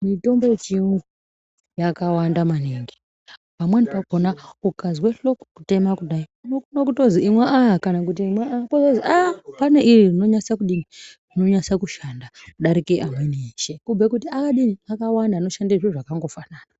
Mitombo yechiyungu yakawanda maningi, pamweni pakhona ukazwe hloko kutema kudai, unokona kutozwi imwa aya, kana kuti imwa aya, pozozwi aah, pane iri rinonyasa kushanda kudarika eshe, kubhuye kuti akadini? Akawanda anoshande zviro zvakangofanana.